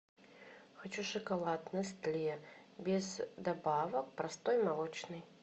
хочу шоколад нестле без добавок простой молочный